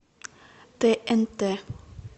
тнт